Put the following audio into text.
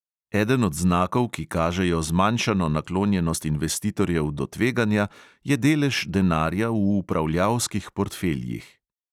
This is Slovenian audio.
Eden od znakov, ki kažejo zmanjšano naklonjenost investitorjev do tveganja, je delež denarja v upravljalskih portfeljih.